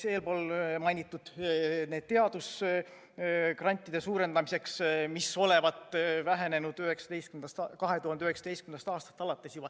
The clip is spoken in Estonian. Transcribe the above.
Eespool juba sai mainitud lisaraha teadusgrantide suurendamiseks, mis olevat vähenenud juba 2019. aastast alates.